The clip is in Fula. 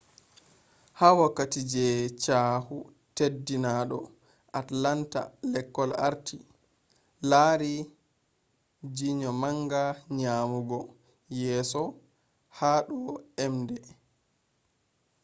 ha wokkati je chyahu teddinado atlanta lekol arti lari jr manga nyamugo yeso ha do emde scores